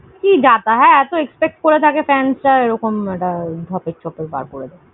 কি যাতা! হ্যাঁ, এতো expect করে থাকে fans রা আর এরকম একটা ঢপের চপের গা জ্বলে যায়।